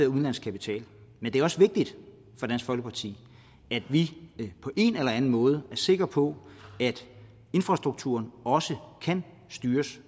udenlandsk kapital men det er også vigtigt for dansk folkeparti at vi på en eller anden måde er sikre på at infrastrukturen også kan styres